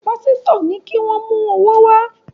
Pásítọ̀ ní kí wọ́n mú owó wá